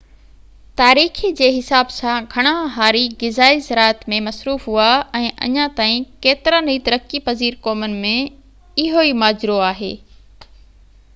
تاريخي جي حساب سان گهڻا هاري غذائي زراعت ۾ مصروف هئا ۽ اڃا تائين ڪيترن ئي ترقي پذير قومن ۾ اهو ئي ماجرو آهي